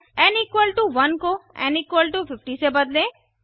N 1 को N 50 से बदलें